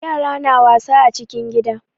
Yara na wasa a cikin gida.